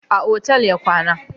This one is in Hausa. A otal ya kwana